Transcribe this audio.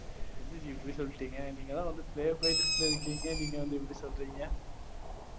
என்ன ஜி இப்படி சொல்லிட்டீங்க? நீங்க தான் வந்து playboy list ல இருக்கீங்க. நீங்க வந்து இப்படி சொல்றீங்க?